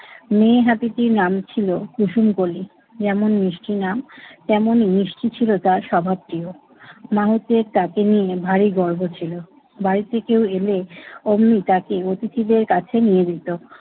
মেয়ে হাতিটির নাম ছিল কুসুমকলি। যেমন মিষ্টি নাম তেমনি মিষ্টি ছিল তার স্বভাবটিও। মাহুতের তাকে নিয়ে ভারী গর্ব ছিল। বাড়িতে কেউ এলে অমনি তাকে অতিথিদের কাছে নিয়ে যেত।